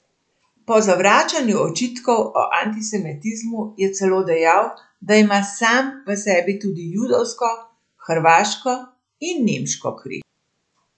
Pri zavračanju očitkov o antisemitizmu je celo dejal, da ima sam v sebi tudi judovsko, hrvaško in nemško kri.